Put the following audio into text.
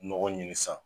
Nɔgɔ ɲini san